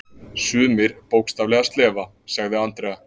Sumir bókstaflega slefa, sagði Andrea.